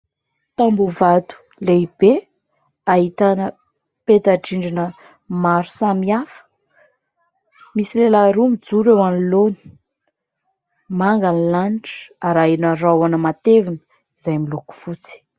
Tamboho vato lehibe ahitana petadrindrina maro samihafa misy lehilahy roa mijoro eo anoloana, manga ny lanitra ary arahina rahona matevina izay miloko fotsy.